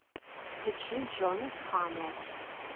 включи джонас хамо